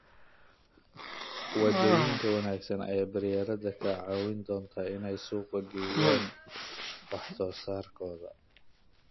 Wadooyin wanaagsan ayaa beeralayda ka caawin doona in ay suuq geeyaan wax soo saarkooda.